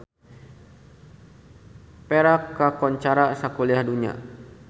Perak kakoncara sakuliah dunya